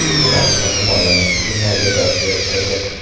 Evaziga himoyamiz hujumlarga dosh berib turdi.